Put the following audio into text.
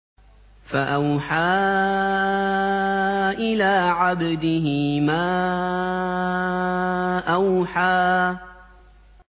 فَأَوْحَىٰ إِلَىٰ عَبْدِهِ مَا أَوْحَىٰ